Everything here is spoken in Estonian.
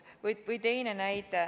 Või teine näide.